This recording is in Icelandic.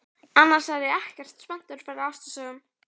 Annars er ég nú ekkert spenntur fyrir ástarsögum.